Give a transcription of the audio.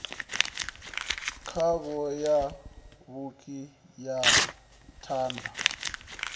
khavho ya fhuri na thanda